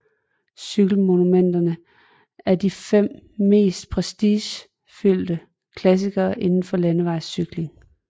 Cykelmonumenterne er de fem mest prestigefyldte klassikere indenfor landevejscyklingen